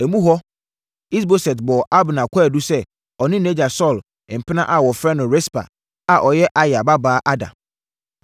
Emu hɔ Is-Boset bɔɔ Abner kwaadu sɛ ɔne nʼagya Saulo mpena a wɔfrɛ no Rispa, a ɔyɛ Aya babaa, ada.